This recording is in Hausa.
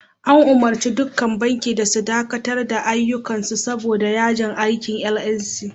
An umurci dukkan banki da su dakatar da ayyuka saboda yajin aikin "NLC".